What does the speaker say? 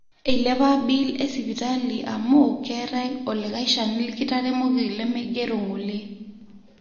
eilepa bill e sipitali amu keetae olikae shani likitaremoki lemeigero ngole